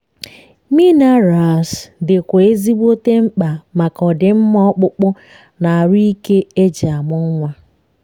minerals di kwa ezigbote mkpa maka ọdimma ọkpụkpụ na arụ ike eji amụ nwa